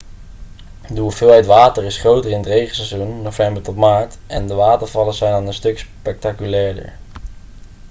de hoeveelheid water is groter in het regenseizoen november tot maart en de watervallen zijn dan een stuk spectaculairder